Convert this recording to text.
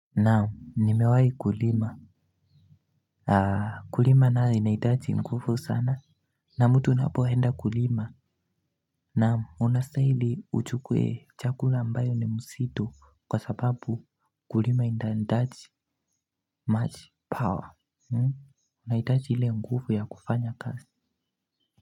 Naam nimewahi kulima. Kulima nayo inahitaji nguvu sana. Na mtu unapoenda kulima naam unastahili uchukue chakula ambayo ni mzito kwa sababu kulima inahitaji much power. Unahitaji ile nguvu ya kufanya kazi.